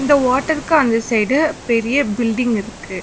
இந்த வாட்டர்க்கு அந்த சைடு பெரிய பில்டிங் இருக்கு.